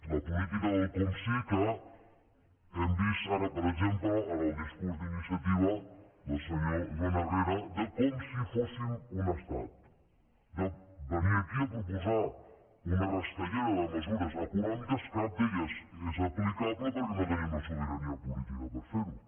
la política del com si que hem vist ara per exemple en el discurs d’iniciativa del senyor joan herrera de com si fóssim un estat de venir aquí a proposar una rastellera de mesures econòmiques cap d’elles és aplicable perquè no tenim la sobirania política per fer ho